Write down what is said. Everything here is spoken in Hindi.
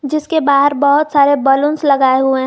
जिसके बाहर बहोत सारे बैलून लगाए हुए हैं।